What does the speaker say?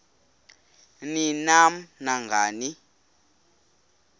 ni nam nangani